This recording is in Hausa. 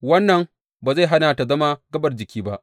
Wannan ba zai hana ta zama gaɓar jikin ba.